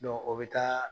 o bɛ taa